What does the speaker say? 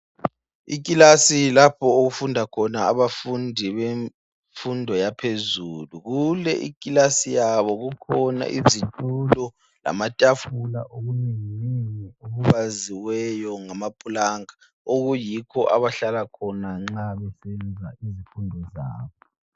ikilasi lapho okufunda khona abafundi bemfundo yaphezulu kule ikilasi yabo kukhona izitulo lamatafula okunenginengi okubaziweyo ngamaplanka okuyikho abahlala khona nxa besenza izifundo zabo